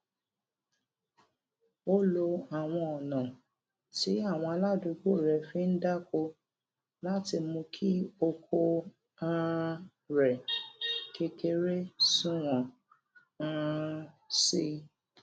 ó lo àwọn ònà tí àwọn aládùúgbò rè fi ń dáko láti mú kí oko um rè kékeré sunwòn um sí i